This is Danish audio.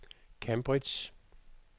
Cambridge